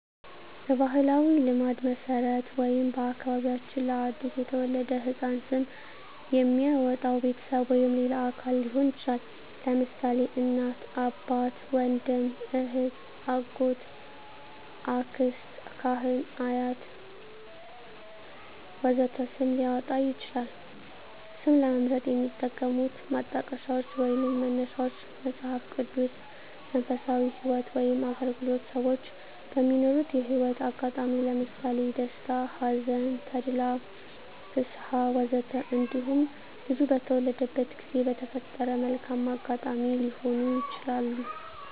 በባሕላዊ ልማድ መሠረት ወይም በአከባቢያችን ለ አዲስ የተወለደ ሕፃን ስም የሚያወጣዉ ቤተሰብ ወይም ሌላ አካል ሊሆን ይችላል። ለምሳሌ: እናት፣ አባት፣ ወንድም፣ እህት፣ አጎት፣ አክስት፣ ካህን፣ አያት ወዘተ ስም ሊያወጣ ይችላል። ስም ለመምረጥ የሚጠቀሙት ማጣቀሻዎች ወይንም መነሻዎች መጽሃፍ ቅዱስ፣ መንፈሳዊ ህይወት ወይም አገልግሎት፣ ሰወች በሚኖሩት የህይወት አጋጣሚ ለምሳሌ ደስታ፣ ሀዘን፣ ተድላ፣ ፍስሀ፣ ወዘተ እንዲሁም ልጁ በተወለደበት ጊዜ በተፈጠረ መልካም አጋጣሚ ሊሆኑ ይችላሉ።